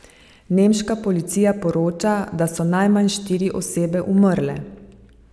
Nemška policija poroča, da so najmanj štiri osebe umrle.